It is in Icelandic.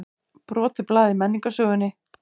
Brotið blað í menningarsögunni